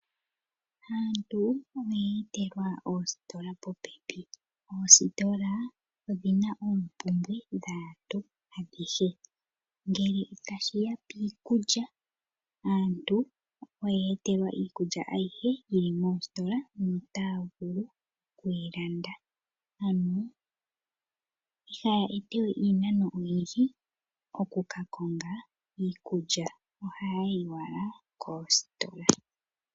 Aantu oya etelwa oositola popepi. Oositola odhi na oompumbwe dhaantu adhihe. Ngele tashi ya piikulya aantu oya etelwa iikulya ayihe yili mositola no taya vulu okuyi landa, ano kaaya ende we iinano oyindji okuka konga iikulya, ohaya yi owala koositola.